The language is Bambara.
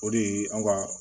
O de ye an ka